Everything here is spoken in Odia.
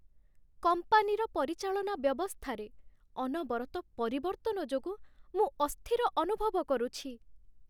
କମ୍ପାନୀର ପରିଚାଳନା ବ୍ୟବସ୍ଥାରେ ଅନବରତ ପରିବର୍ତ୍ତନ ଯୋଗୁଁ ମୁଁ ଅସ୍ଥିର ଅନୁଭବ କରୁଛି।